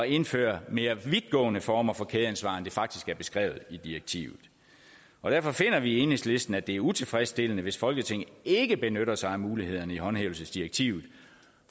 indføre mere vidtgående former for kædeansvar end det faktisk er beskrevet i direktivet derfor finder vi i enhedslisten at det er utilfredsstillende hvis folketinget ikke benytter sig af mulighederne i håndhævelsesdirektivet